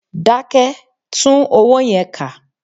Dákẹ́! Tún owó yẹn kà.